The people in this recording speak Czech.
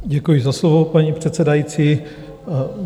Děkuji za slovo, paní předsedající.